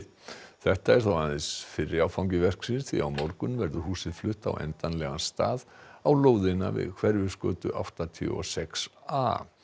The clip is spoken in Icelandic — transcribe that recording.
þetta er þó aðeins fyrri áfangi verksins því á morgun verður húsið flutt á endanlegan stað á lóðina við Hverfisgötu áttatíu og sex a